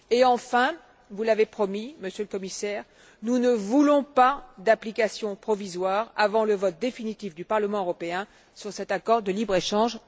Et enfin, comme vous l'avez promis, Monsieur le Commissaire, nous ne voulons pas d'application provisoire avant le vote définitif du Parlement européen sur cet accord de libre échange.